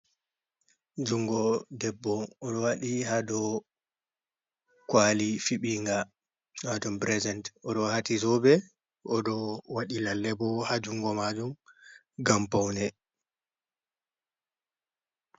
Jungo debbo oɗo waɗi ha dou kwali fiɓinga wato pirezent, oɗo waati zoobe, oɗo waɗi lalle bo ha jungo maajum ngam paune.